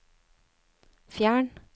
fjern